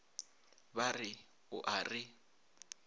ba re o a re